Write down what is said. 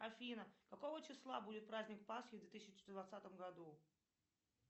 афина какого числа будет праздник пасхи в две тысячи двадцатом году